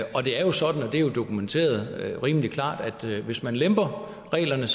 og det er sådan og det er dokumenteret rimelig klart at hvis man lemper reglerne